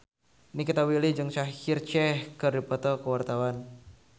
Nikita Willy jeung Shaheer Sheikh keur dipoto ku wartawan